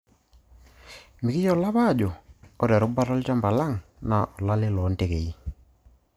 Mikiyiolo apa ajo ore erubata olchamba lang naa olo lale loo ntekei.